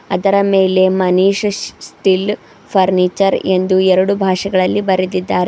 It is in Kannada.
ಅದರ ಮೇಲೆ ಮನೀಶ್ ಸ್ಟಿಲ್ ಫರ್ನಿಚರ್ ಎಂದು ಎರಡು ಭಾಷೆಗಳಲ್ಲಿ ಬರೆದಿದ್ದಾರೆ.